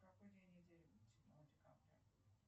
какой день недели седьмого декабря